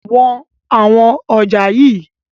Wọn àwọn ọjà yii!